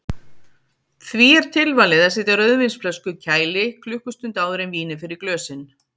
Því er tilvalið að setja rauðvínsflösku í kæli klukkustund áður en vínið fer í glösin.